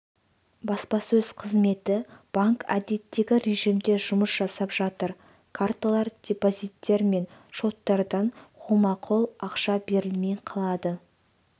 баспасөз қызметі банк әдеттегі режімде жұмыс жасап жатыр карталар депозиттер мен шоттардан қолма-қол ақша берілмей қалады